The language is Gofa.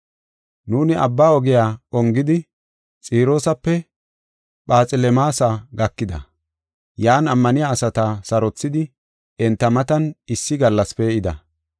Nuuni abba ogiya ongidi, Xiroosape Phaxelemaasa gakida. Yan ammaniya asata sarothidi, enta matan issi gallas pee7ida.